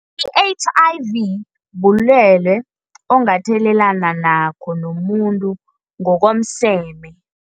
I-H_I_V bulwele ongathelelana nakho nomuntu ngokomseme.